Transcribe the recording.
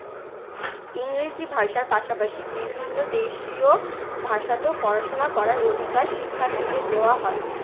ইংরেজি ভাষার পাশাপাশি বিভিন্ন দেশীয় ভাষাতেও পড়াশোনা করার অধিকার শিক্ষার্থীদের দেওয়া হয়।